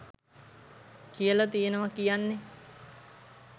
කියල තියෙනවා කියන්නේ